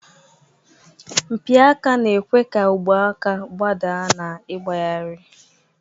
Mpi aka na-ekwe ka ogwe aka gbadaa na ịgbagharị.